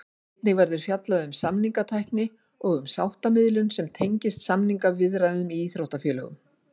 Einnig verður fjallað um samningatækni og um sáttamiðlun sem tengist samningaviðræðum í íþróttafélögum.